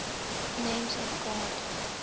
names of god